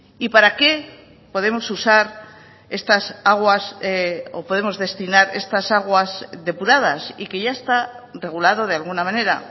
y para qué podemos usar estas aguas o podemos destinar estas aguas depuradas y que ya está regulado de alguna manera